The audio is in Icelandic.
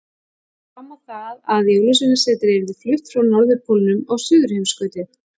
Hann fór fram á það að Jólasveinasetrið yrði flutt frá Norðurpólnum á Suðurheimskautið.